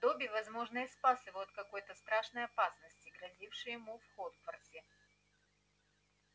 добби возможно и спас его от какой-то страшной опасности грозившей ему в хогвартсе